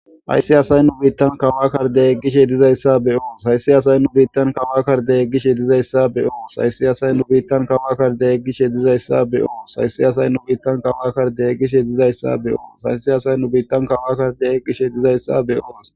Ayssi asay nu biittan kawakar deeggishe dizayssa beyoo saysi asay nu biittan kawakar deeyggishe dizayssa beyoo saysi asay nu biittan kawakkar deeyggishe dizayssa beoo sayssi asay nu biittan kawakar deeyggishe dizayssa beyooo saysi asay nu biittan kawakkar deeyggishe dizayssa beyoos.